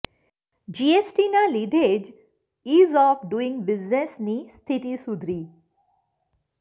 જીએસટીના લીધે જ ઇઝ ઓફ ડુઇંગ બિઝનેસની સ્થિતિ સુધરી